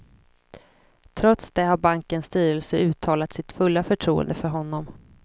Trots det har bankens styrelse uttalat sitt fulla förtroende för honom.